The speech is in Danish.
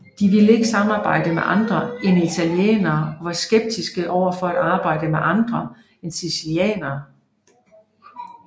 De ville ikke samarbejde med andre end italienere og var skeptiske overfor at arbejde med andre en sicilianere